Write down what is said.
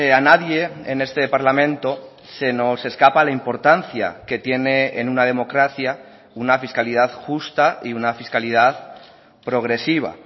a nadie en este parlamento se nos escapa la importancia que tiene en una democracia una fiscalidad justa y una fiscalidad progresiva